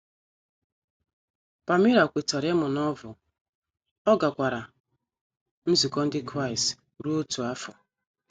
Palmira kwetara ịmụ Novel, ọ gakwara nzukọ ndị Kraịst ruo otu afọ.